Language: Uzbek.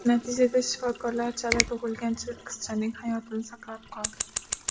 Natijada shifokorlar chala tug‘ilgan qizchaning hayotini saqlab qoldi.